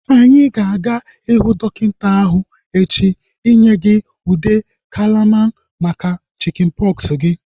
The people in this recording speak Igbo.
Anyị na-aga ihu dọkịta ahu echi inye gị ude kalamain maka chikin pọksi gị